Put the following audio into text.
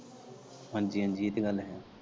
ਹਾਂਜੀ ਹਾਂਜੀ ਏਹ ਤਾਂ ਗੱਲ ਹੈ।